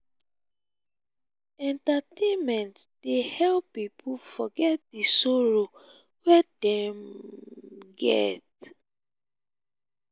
entertainment dey help pipo forget di sorrow wey dem get.